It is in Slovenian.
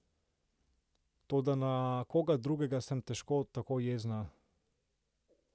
Toda na koga drugega sem težko tako jezna.